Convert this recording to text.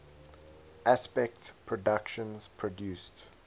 aspect productions produced